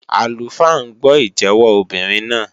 Àlùfáà ń gbọ́ ìjẹ́wọ́ obìnrin náà.